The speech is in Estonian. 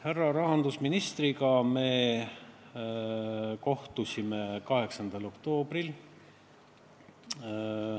Härra rahandusministriga me kohtusime 8. oktoobril.